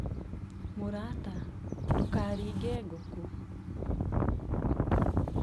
mũrata, ndũkaringe ngũkũ